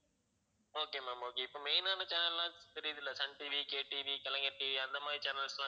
okay ma'am okay இப்ப main ஆன channel லாம் தெரியுது இல்ல Sun TV, K TV, Kalaignar TV, அந்த மாதிரி channels லாம்